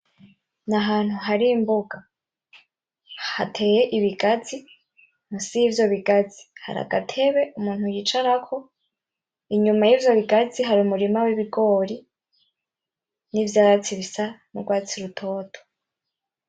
N'ahantu hari imbuga hateye ibigazi, musi y'ivyo bigazi hari agatebe umuntu yicarako inyuma y'ivyo bigazi hari umurima w'ibigori n'ivyatsi bisa n'ugwatsi rutoto.